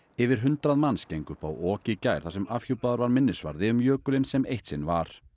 yfir hundrað manns gengu upp á ok í gær þar sem afhjúpaður var minnisvarði um jökulinn sem eitt sinn var